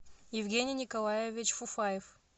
евгений николаевич фуфаев